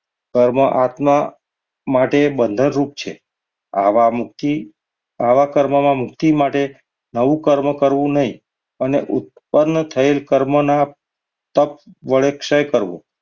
પરમાત્મા માટે બંધન રૂપ છે. આવા મુક્તિ આવા કર્મોની મુક્તિ માટે નવું કર્મ કરવું નહીં અને ઉત્પન્ન થયેલા કર્મના તપ વડે ક્ષય કરવો.